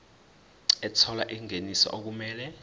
ethola ingeniso okumele